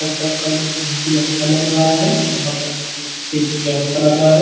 घर का कलर बहुत अच्छा लग रहा है। वहाँ पर सी_सी_टी_वी कैमरा लगा है।